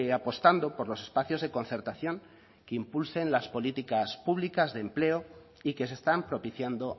apostando por los espacios de concertación que impulsen las políticas públicas de empleo y que se están propiciando